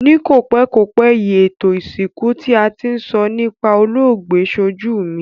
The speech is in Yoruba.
Ni kòpékòpé yi, ètò ìsìnkú ti a ti n so nipa olóògbé sojú mi